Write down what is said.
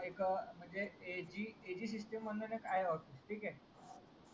एक म्हणजे A G system ठीक हे